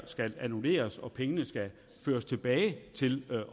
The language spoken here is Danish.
skal annulleres og pengene føres tilbage til